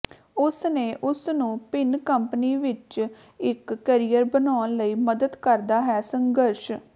ਉਸ ਨੇ ਉਸ ਨੂੰ ਭਿਨ ਕੰਪਨੀ ਵਿੱਚ ਇੱਕ ਕੈਰੀਅਰ ਬਣਾਉਣ ਲਈ ਮਦਦ ਕਰਦਾ ਹੈ ਸੰਘਰਸ਼